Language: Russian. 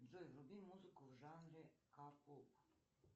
джой вруби музыку в жанре к поп